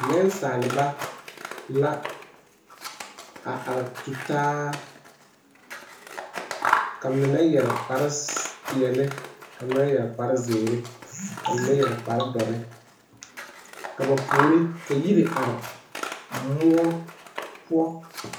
Nensaalba la a are tutaa ka mine yɛre kpare peɛle ka mine yɛre kpare zeere ka mine yɛre kpare dɔre ka ba puori ka yiri are moɔ poɔ.